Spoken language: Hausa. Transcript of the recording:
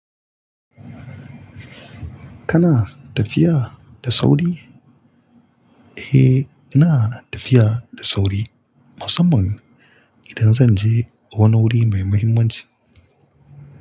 Kana tafiya da sauri? Eh, ina tafiya da sauri, musamman idan zan je wani wuri mai muhimmanci.